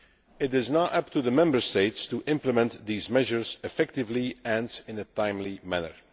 It is now up to the Member States to implement these measures effectively and in a timely manner.